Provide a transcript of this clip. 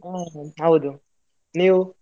ಹಾ ಹೌದು, ನೀವು?